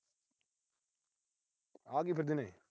ਆ ਕੀ ਨੇ।